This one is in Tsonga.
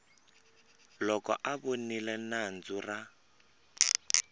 loko a voniwe nandzu ra